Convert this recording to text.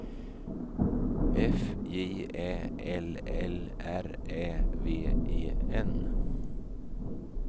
F J Ä L L R Ä V E N